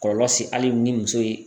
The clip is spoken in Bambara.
Kɔlɔlɔ se ali ni muso ye